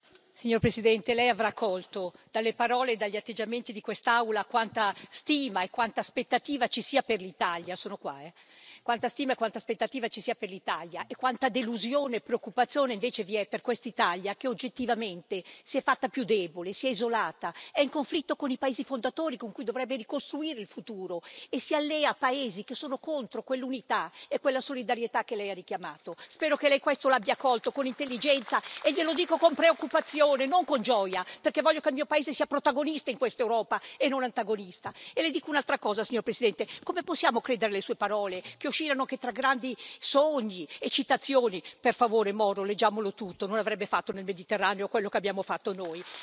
Signor Presidente, onorevoli colleghi, signor Presidente del Consiglio, lei avrà colto dalle parole e dagli atteggiamenti di quest'Aula quanta stima e quanta aspettativa ci sia per l'Italia e quanta delusione e preoccupazione invece vi è per quest'Italia che, oggettivamente, si è fatta più debole, si è isolata, è in conflitto con i paesi fondatori con cui dovrebbe ricostruire il futuro e si allea a paesi che sono contro quell'unità e quella solidarietà che lei ha richiamato. Spero che lei questo lo abbia colto con intelligenza, e glielo dico con preoccupazione non con gioia, perché voglio che il mio paese sia protagonista in questa Europa e non antagonista. Le dico un'altra cosa, signor Presidente come possiamo credere alle sue parole, che oscillano tra grandi sogni e citazioni? Per favore, Aldo Moro leggiamolo integralmente non avrebbe fatto nel Mediterraneo quello che abbiamo fatto noi.